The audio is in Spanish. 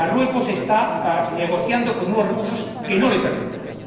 Marruecos está negociando con unos recursos que no le pertenecen.